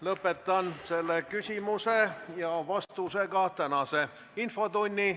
Lõpetan selle küsimuse ja vastusega tänase infotunni.